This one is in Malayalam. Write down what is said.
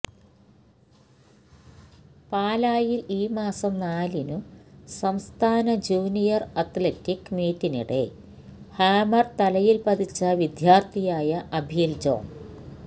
പാലായിൽ ഈ മാസം നാലിനു സംസ്ഥാന ജൂനിയർ അത്ലറ്റിക് മീറ്റിനിടെ ഹാമർ തലയിൽ പതിച്ച വിദ്യാർത്ഥിയായ അഭീൽ ജോൺ